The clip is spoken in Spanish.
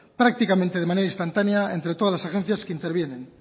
prácticamente de manera instantánea entre todas las agencias que intervienen